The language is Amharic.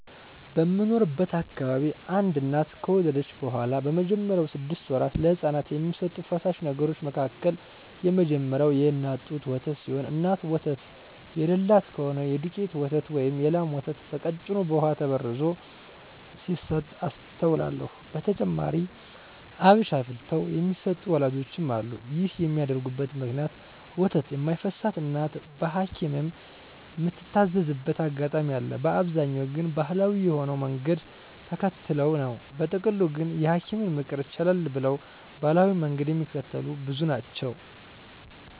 በምኖርበት አካባቢ አንድ እናት ከወለደች በኋላ በመጀመሪያወቹ ስድስት ወራት ለህጻናት ከሚሰጡ ፈሳሽ ነገሮች መካከል የመጀመሪያው የእናት ጡት ወተት ሲሆን እናት ወተት የለላት ከሆነች የዱቄት ወተት ወይም የላም ወተት በቀጭኑ በውሃ ተበርዞ ሲሰጥ አስተውላለው። በተጨማሪም አብሽ አፍልተው የሚሰጡ ወላጆችም አሉ። ይህን የሚያደርጉበት ምክንያት ወተት የማይፈስላት እናት በሀኪምም ምትታዘዝበት አጋጣሚ አለ፤ በአብዛኛው ግን ባሀላዊ የሆነውን መንገድ ተከትለው ነው። በጥቅሉ ግን የሀኪምን ምክር ቸለል ብለው ባሀላዊውን መንገድ ሚከተሉ ብዙ ናቸው።